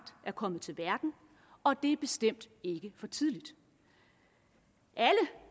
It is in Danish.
er kommet til verden og det er bestemt ikke for tidligt alle